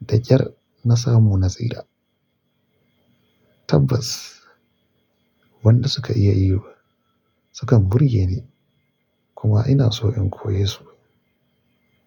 da ƙyar na samu nasira tabbas wanda suka iya yi sukan burge ni kuma ina so in koye su.